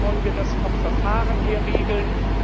Wie wollen wir das vom Verfahren her regeln?